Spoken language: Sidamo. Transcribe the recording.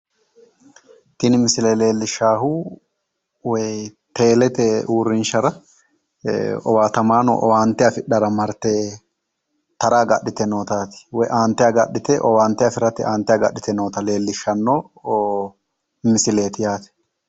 Tini misile leellishshaahu woyi teelete uurrinshara owaatamaano owaante afidhara marte tara agadhite nootaa woyi aante agadhite owaante afiraye aante agadhite noota leellishshanno misileeti yaate.